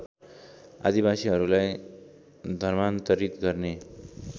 आदिवासीहरूलाई धर्मान्तरित गर्ने